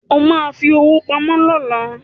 O ma fi owó pamọ́ lọ́la